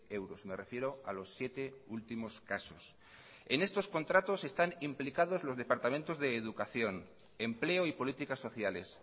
euros me refiero a los siete últimos casos en estos contratos están implicados los departamentos de educación empleo y políticas sociales